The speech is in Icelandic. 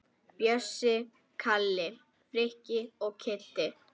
Bjössi, Kalli, Frikki og Kiddi!